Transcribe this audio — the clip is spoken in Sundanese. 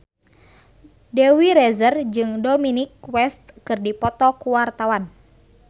Dewi Rezer jeung Dominic West keur dipoto ku wartawan